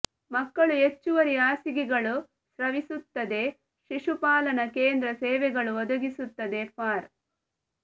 ಮಕ್ಕಳು ಹೆಚ್ಚುವರಿ ಹಾಸಿಗೆಗಳು ಸ್ರವಿಸುತ್ತದೆ ಶಿಶುಪಾಲನಾ ಕೇಂದ್ರ ಸೇವೆಗಳು ಒದಗಿಸುತ್ತದೆ ಫಾರ್